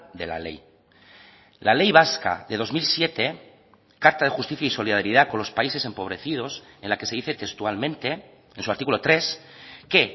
de la ley la ley vasca de dos mil siete carta de justicia y solidaridad con los países empobrecidos en la que se dice textualmente en su artículo tres que